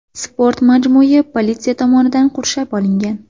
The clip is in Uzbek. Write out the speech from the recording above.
Sport majmui politsiya tomonidan qurshab olingan.